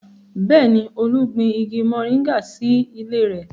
Bẹ́ẹ̀ni, Olú gbin igi moringa sí ilé rẹ̀